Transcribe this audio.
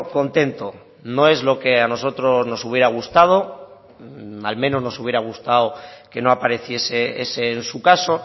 contento no es lo que a nosotros nos hubiera gustado al menos nos hubiera gustado que no apareciese ese en su caso